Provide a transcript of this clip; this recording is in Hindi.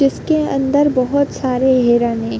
इसके अंदर बहुत सारे हिरन है।